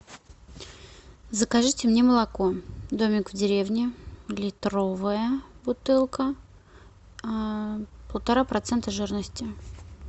закажите мне молоко домик в деревне литровая бутылка полтора процента жирности